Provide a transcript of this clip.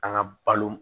An ka balo